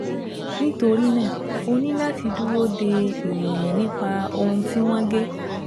Nítorí náà, o ní láti dúró de ìròyìn nípa ohun tí wọ́n gé